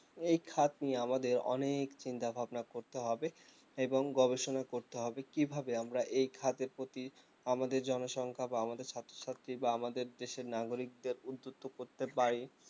এই খাত নিয়ে আমাদের অনেক চিন্তাভাবনা করতে হবে এবং গবেষণা করতে হবে কিভাবে আমরা এই খাত এর প্রতি আমাদের জনসংখ্যা বা আমাদের ছাত্রছাত্রী বা আমাদের দেশের নাগরিকদের উদ্ধির্ত করতে পারি